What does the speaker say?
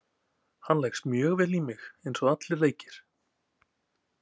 Hann leggst mjög vel í mig eins og allir leikir.